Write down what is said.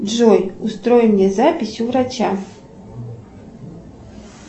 джой устрой мне запись у врача